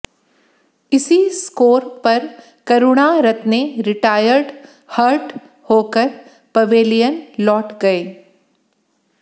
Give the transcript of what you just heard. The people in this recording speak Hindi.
इसी स्कोर पर करुणारत्ने रिटायर्ड हर्ट होकर पवेलियन लौट गए